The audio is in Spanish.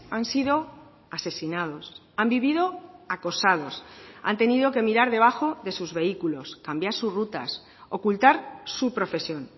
han sido asesinados han vivido acosados han tenido que mirar debajo de sus vehículos cambiar sus rutas ocultar su profesión